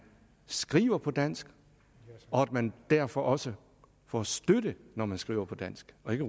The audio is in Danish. skriver på dansk og at man derfor også får støtte når man skriver på dansk og ikke